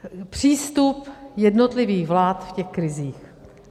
Přístup jednotlivých vlád v těch krizích.